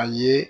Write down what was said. A ye